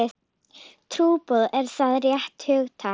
Trúboð, er það rétt hugtak?